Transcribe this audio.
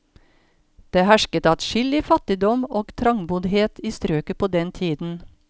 Det hersket adskillig fattigdom og trangboddhet i strøket på den tiden.